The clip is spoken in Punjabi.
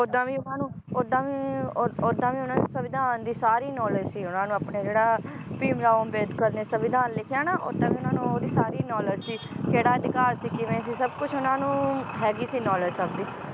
ਓਦਾਂ ਵੀ ਉਹਨਾਂ ਨੂੰ ਓਦਾਂ ਵੀ ਓਦ~ ਓਦਾਂ ਵੀ ਉਹਨਾਂ ਨੂੰ ਸਵਿਧਾਨ ਦੀ ਸਾਰੀ knowledge ਸੀ ਉਹਨਾਂ ਨੂੰ ਆਪਣੇ ਜਿਹੜਾ ਭੀਮਰਾਓ ਅੰਬੇਦਕਰ ਨੇ ਸਵਿਧਾਨ ਲਿਖਿਆ ਨ ਓਦਾਂ ਵੀ ਉਹਨਾਂ ਨੂੰ ਓਹਦੀ ਸਾਰੀ knowledge ਸੀ ਕੇਹੜਾ ਅਧਿਕਾਰ ਸੀ ਕਿਵੇਂ ਸੀ, ਸਬ ਕੁਝ ਉਹਨਾਂ ਨੂੰ ਹੈਗੀ ਸੀ knowledge ਸਬ ਦੀ